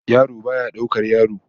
Yaro baya daukar yaro